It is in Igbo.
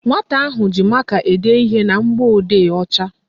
Nwata ahụ ji maka ede ihe na mgbọodee ọcha